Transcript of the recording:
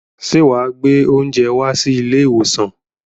Ṣé wà á gbé oúnjẹ wá sí ilé-ìwòsàn?